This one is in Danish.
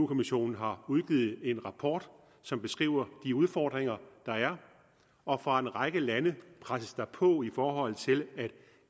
kommissionen har udgivet en rapport som beskriver de udfordringer der er og fra en række lande presses der på i forhold til at